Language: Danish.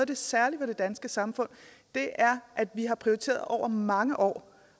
det særlige ved det danske samfund er at vi har prioriteret over mange år